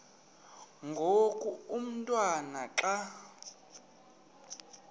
ngoku umotwana xa